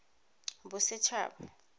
bosetshaba